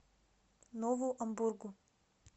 нову амбургу